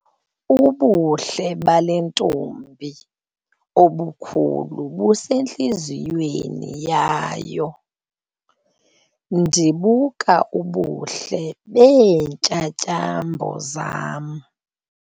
Ubuhle bale ntombi obukhulu busentliziyweni yayo. ndibuka ubuhle beentyatyambo zam